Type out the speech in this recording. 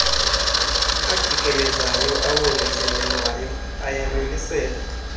ajikelezayo awongezelelweyo ayamiliselwa